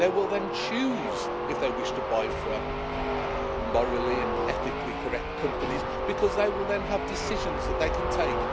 They will then choose if they wish to buy from morally and ethically correct companies because they will then have decisions that they can take.